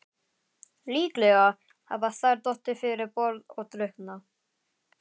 Líklega hafa þær dottið fyrir borð og drukknað.